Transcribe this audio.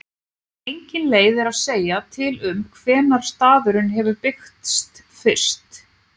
Engin leið er að segja til um hvenær staðurinn hefur byggst fyrst.